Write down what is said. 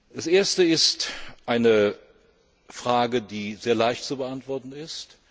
Das erste ist eine Frage, die sehr leicht zu beantworten ist.